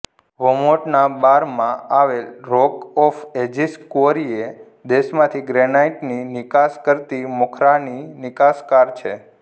વર્મોન્ટનાં બારમાં આવેલ rock of ages quarry એ દેશમાંથી ગ્રીનાઈટની નિકાસ કરતી મોખરાની નિકાસકાર છે